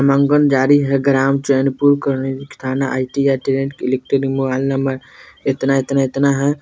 मंगल है ग्राम चैनपुर करनी Asthana ITI train mobile number इतना-इतना-इतना है |